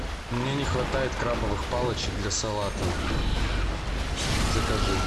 мне не хватает крабовых палочек для салата закажи